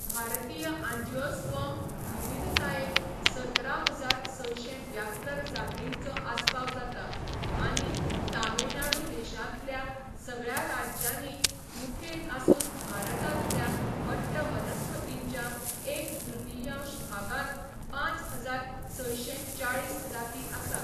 भारतीय आंजिओस्पर्म विविधतायेंत सतरा हजार सयशे ब्यात्तर जातींचो आस्पाव जाता आनी तामिळनाडू देशांतल्या सगळ्या राज्यांनी मुखेल आसून भारतांतल्या वट्ट वनस्पतींच्या एक तृतियांश भागांत पांच हजार सयशे चाळीस जाती आसात.